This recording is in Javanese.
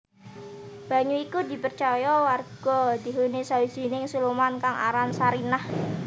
Banyu iku dipercaya warga dihuni sawijining siluman kang aran Sarinah